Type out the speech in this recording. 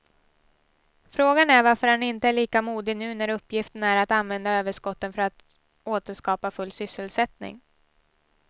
Frågan är varför han inte är lika modig nu när uppgiften är att använda överskotten för att åter skapa full sysselsättning.